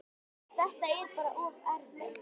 Þetta er bara of erfitt.